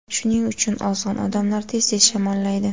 Shuning uchun ozg‘in odamlar tez-tez shamollaydi.